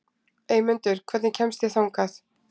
Eymundur, hvernig kemst ég þangað?